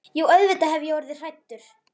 Jú auðvitað hef ég orðið hræddur.